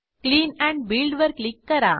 clean and Buildवर click करा